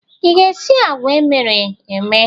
Ị ga-esi agwa emere eme?